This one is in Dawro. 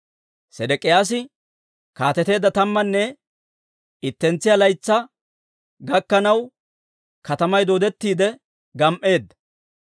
Sedek'iyaasi kaateteedda tammanne ittentsiyaa laytsaa gakkanaw, katamay dooddettiide gam"eedda.